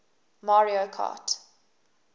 mario kart